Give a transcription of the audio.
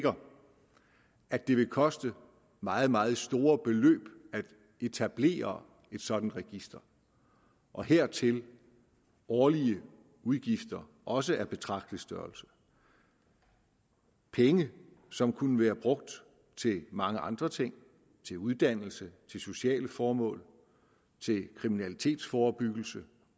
at det vil koste meget meget store beløb at etablere et sådant register og hertil årlige udgifter også af betragtelig størrelse penge som kunne være brugt til mange andre ting til uddannelse til sociale formål til kriminalitetsforebyggelse